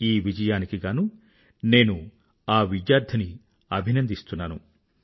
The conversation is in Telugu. ఈ విజయానికి గానూ నేను ఆ విద్యార్థిని అభినందిస్తున్నాను